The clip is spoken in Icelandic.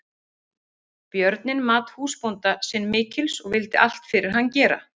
Björninn mat húsbónda sinn mikils og vildi allt fyrir hann gera.